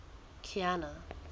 kiana